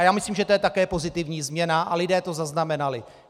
A já myslím, že to je také pozitivní změna a lidé to zaznamenali.